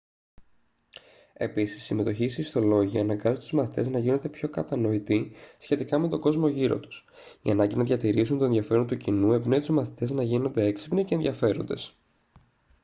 επίσης η συμμετοχή σε ιστολόγια «αναγκάζει τους μαθητές να γίνονται πιο κατανοητοί σχετικά με τον κόσμο γύρω τους». η ανάγκη να διατηρήσουν το ενδιαφέρον του κοινού εμπνέει τους μαθητές να γίνονται έξυπνοι και ενδιαφέροντες τότο 2004